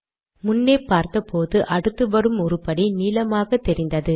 முன்னே பார்த்தபோது அடுத்து வரும் உருப்படி நீலமாக தெரிந்தது